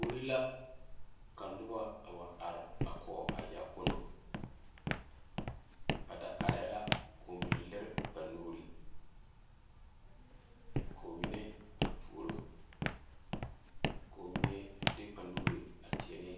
Kori la ka noba a wa are a koo a yaakpoŋlo ba da are la ko'o mine leri ba nuure ko'o mine a pouri ko'o mine de ba nuure teɛ ne